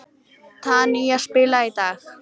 Tanía, spilaðu lag.